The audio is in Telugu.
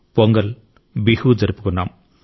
పొంగల్ బిహు జరుపుకున్నాం